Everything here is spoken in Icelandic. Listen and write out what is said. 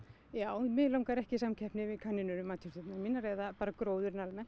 já mig langar ekki í samkeppni við kanínur um matjurtirnar mínar eða bara gróðurinn almennt